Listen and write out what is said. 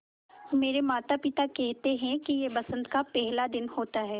मेरे माता पिता केहेते है कि यह बसंत का पेहला दिन होता हैँ